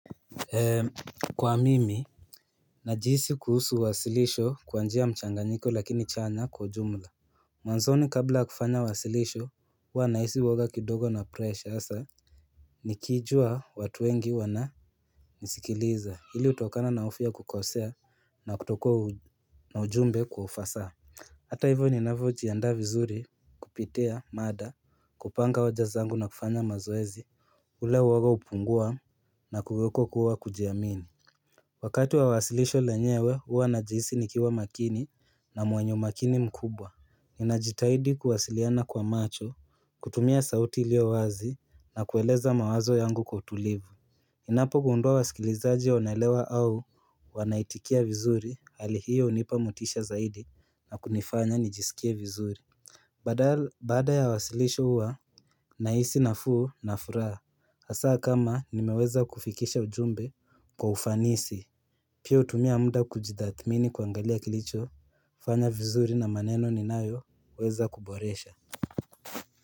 Kwa mimi, najisi kuhusu wasilisho kwa njia mchanganyiko lakini chanya kwa jumla Mwanzoni kabla kufanya wasilisho, huwa nahisi woga kidogo na presha, nikijua watu wengi wananisikiliza hili utokana na ufya kukosea na kutoko na ujumbe kwa ufasa Hata hivyo ninavyo tianda vizuri kupita mada kupanga wajazangu na kufanya mazoezi ule waga upungua na kuweko kuwa kujiamini Wakatu wa wasilisho lenyewe huwa najisi nikiwa makini na mwenye umakini mkubwa Ninajitahidi kuwasiliana kwa macho, kutumia sauti iliowazi na kueleza mawazo yangu kwa utulivu Ninapogundua wasikilizaji wanaelewa au wanaitikia vizuri hali hiyo unipa motisha zaidi na kunifanya nijisikie vizuri Badal baada ya wasilisho huwa nahisi nafuu na furaha Asaa kama nimeweza kufikisha ujumbe kwa ufanisi Pia utumia muda kujitaathmini kuangalia kilicho Fanya vizuri na maneno ninayoweza kuboresha.